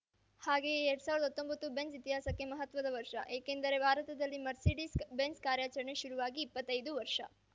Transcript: ಹಾಗೆಯೇ ಎರ್ಡ್ ಸಾವಿರದಾ ಹತ್ತೊಂಬತ್ತು ಬೆಂಝ್‌ ಇತಿಹಾಸಕ್ಕೆ ಮಹತ್ವದ ವರ್ಷ ಏಕೆಂದರೆ ಭಾರತದಲ್ಲಿ ಮರ್ಸಿಡಿಸ್‌ ಬೆಂಝ್‌ ಕಾರ್ಯಚರಣೆ ಶುರುವಾಗಿ ಇಪ್ಪತ್ತೈದು ವರ್ಷ